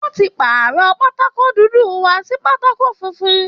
Wọ́n ti pàrọ̀ pátákó dúdú wa sí pátákó funfun